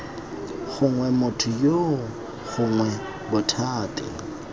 gongwe motho yoo gongwe bothati